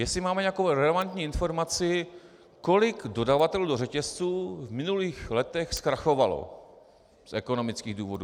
Jestli máme nějakou relevantní informaci, kolik dodavatelů do řetězců v minulých letech zkrachovalo z ekonomických důvodů.